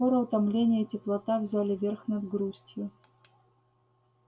но скоро утомление и теплота взяли верх над грустью